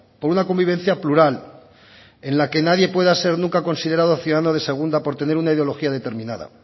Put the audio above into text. por una convivencia plural en la que nadie pueda ser nunca considerado ciudadano de segunda por tener una ideología determinada